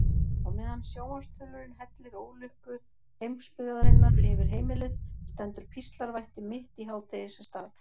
Á meðan sjónvarpsþulurinn hellir ólukku heimsbyggðarinnar yfir heimilið stendur píslarvætti mitt í hádegisstað.